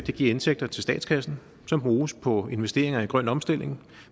give indtægter til statskassen som bruges på investeringer i grøn omstilling